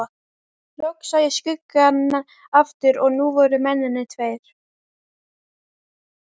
Loks sá ég skuggann aftur og nú voru mennirnir tveir.